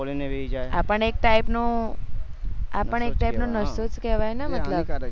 ખોલી ને બેસી જાય આપણે એક type નો આપણ એક type નસો જ કેવાય ને મતલબ